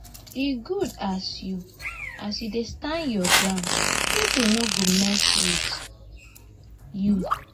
e good as you as you dey stand your ground pipo no go mess wit you.